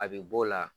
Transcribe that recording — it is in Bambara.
A bɛ b'o la